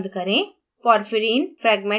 dialog box बंद करें